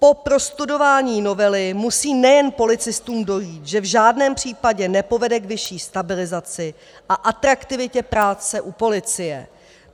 Po prostudování novely musí nejen policistům dojít, že v žádném případě nepovede k vyšší stabilizaci a atraktivitě práce u policie.